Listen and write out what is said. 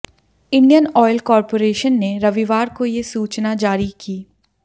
Indian oil corporation ने रविवार को ये सूचना जारी की